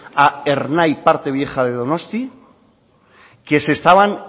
a ernai parte vieja de donosti que se estaban